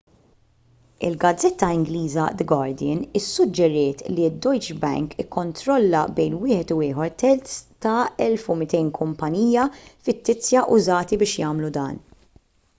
il-gazzetta ingliża the guardian issuġġeriet li d-deutsche bank ikkontrolla bejn wieħed u ieħor terz tal-1200 kumpanija fittizja użati biex jagħmlu dan